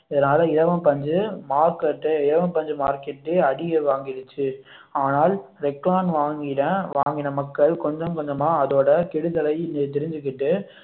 இதனால இலவம் பஞ்சு market இலவம் பஞ்சு market ஏ அடிய வாங்கிருச்சுஆனால் ரெக்லான் வாங்கின வாங்கின மக்கள் கொஞ்சம் கொஞ்சமா அதனோட கெடுதலை தெரிஞ்சுக்கிட்டு